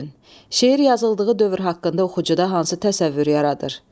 Şeir yazıldığı dövr haqqında oxucuda hansı təsəvvürü yaradır?